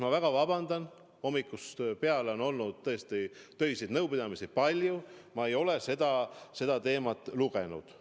Ma väga vabandan, hommikust peale on olnud palju töiseid nõupidamisi, ma ei ole seda veel lugenud.